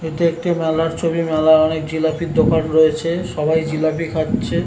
এটি একটি মেলার ছবি। মেলায় অনেক জিলাপির দোকান রয়েছে। সবাই জিলাপি খাচ্ছে।